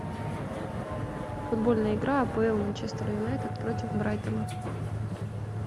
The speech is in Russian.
футбольная игра апл манчестер юнайтед против брайтона